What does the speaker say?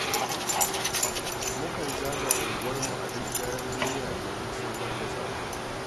Mukan zaga unguwarmu a duk daren duniya domin samar da tsaro.